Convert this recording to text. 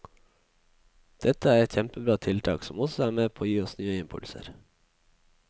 Dette er et kjempebra tiltak som også er med på å gi oss nye impulser.